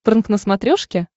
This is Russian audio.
прнк на смотрешке